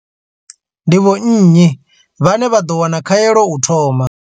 Ndi vho nnyi vhane vha ḓo wana khaelo u thoma?